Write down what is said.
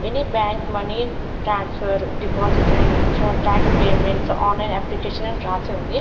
ని bank money transfer deposit and withdrawn tax payments online application అని రాసి ఉంది.